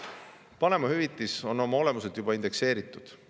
" Vanemahüvitis on oma olemuselt juba indekseeritud.